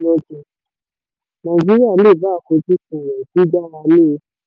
nàìjíríà lè bá àfojúsùn rẹ̀ gbígbára lé e.